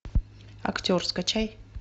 актер скачай